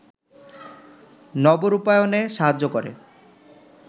নবরূপায়ণে সাহায্য করে